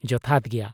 ᱡᱚᱛᱷᱟᱛ ᱜᱮᱭᱟ ᱾